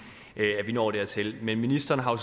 vi når dertil men ministeren har